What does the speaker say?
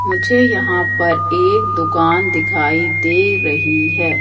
मुझे यहां पर एक दुकान दिखाई दे रही है।